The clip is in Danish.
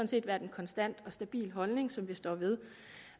set været en konstant og stabil holdning som vi står ved